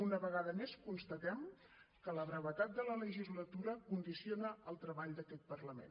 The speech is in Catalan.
una vegada més constatem que la brevetat de la legislatura condiciona el treball d’aquest parlament